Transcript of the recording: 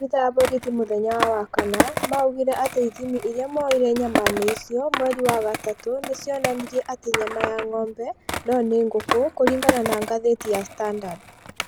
Maabĩtha a borithi mũthenya wa wakana maugire atĩ ithimi ĩrĩa moire nyama-inĩ icio mweri wa gatatu nĩcionanirĩe ti nyama ya ngombe no nĩ ngũkũ kũringana na ngathĩti ya standard